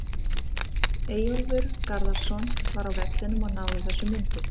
Eyjólfur Garðarsson var á vellinum og náði þessum myndum.